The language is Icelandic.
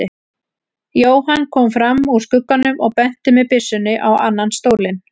Jóhann kom fram úr skugganum og benti með byssunni á annan stólinn.